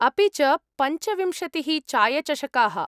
अपि च पञ्चविंशतिः चायचषकाः।